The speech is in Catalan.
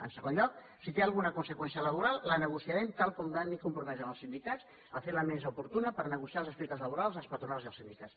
en segon lloc si té alguna conseqüència laboral la negociarem tal com m’he compromès amb els sindicats a fer la mesa oportuna per negociar els aspectes laborals amb les patronals i els sindicats